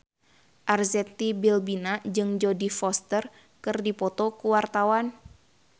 Arzetti Bilbina jeung Jodie Foster keur dipoto ku wartawan